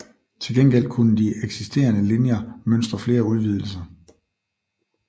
Til gengæld kunne de eksisterende linjer mønstre flere udvidelser